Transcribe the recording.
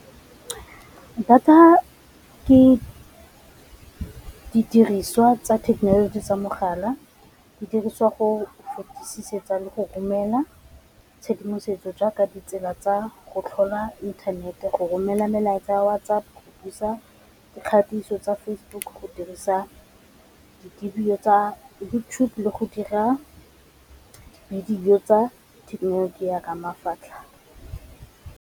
Data ke didiriswa tsa thekenoloji tsa mogala di dirisiwa go fetisetsa le go romela tshedimosetso jaaka ditsela tsa go tlhola inthanete, go romela melaetsa WhatsApp, dikgatiso tsa Facebook, go dirisa di dibidio tsa le YouTube le go dira tsa thekenoloji ya .